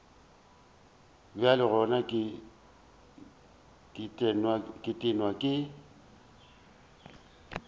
bjale gona ke tennwe ke